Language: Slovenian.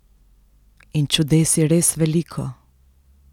In čudes je res veliko.